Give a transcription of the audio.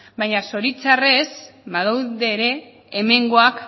baina zoritxarrez badaude ere hemengoak